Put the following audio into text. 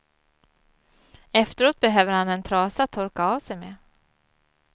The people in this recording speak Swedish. Efteråt behöver han en trasa att torka av sig med.